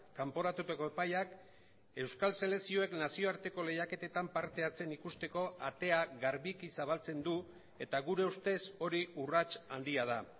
kanporatutako epaiak euskal selekzioek nazioarteko lehiaketetan parte hartzen ikusteko atea garbiki zabaltzen du eta gure ustez hori urrats handia da